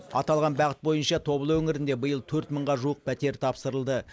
аталған бағыт бойынша тобыл өңірінде биыл төрт мыңға жуық пәтер тапсырылды